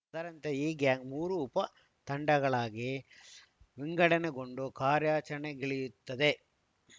ಅದರಂತೆ ಈ ಗ್ಯಾಂಗ್‌ ಮೂರು ಉಪ ತಂಡಗಳಾಗಿ ವಿಗಂಡಣೆಗೊಂಡು ಕಾರ್ಯಾಚರಣೆಗಿಳಿಯುತ್ತದೆ